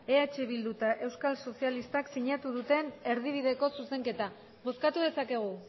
eh bildu eta euskal sozialistak sinatu duten erdibideko zuzenketa bozkatu dezakegu